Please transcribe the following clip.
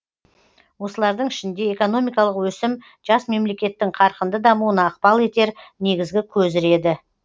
осылардың ішінде экономикалық өсім жас мемлекеттің қарқынды дамуына ықпал етер негізгі көзір еді